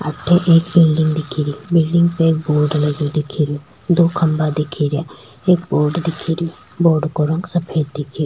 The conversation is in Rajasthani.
अठे एक बिलडिंग दिख रही बिलडिंग पे बोर्ड लगो दिख रो दो खम्भा दिख रीया एक बोर्ड दिख रा बोर्ड को रंग सफ़ेद दिख --